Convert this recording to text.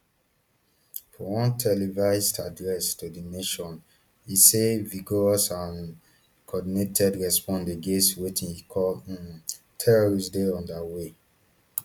for one televised address to di nation e say vigorous and coordinated response against wetin e call um terrorists dey under way